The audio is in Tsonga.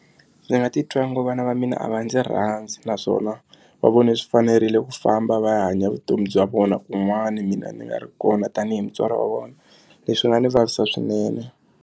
Ndzi nga titwa ngo vana va mina va ndzi rhandzi naswona va vone swi fanerile ku famba va ya hanya vutomi bya vona kun'wani mina ni nga ri kona tanihi mutswari wa vona leswi nga ndzi vavisa swinene.